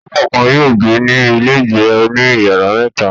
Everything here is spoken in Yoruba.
Àwọn ẹbí kọ̀ọ̀kan yóò gbé ní ilégbèé oní ìyàrá mẹ́ta.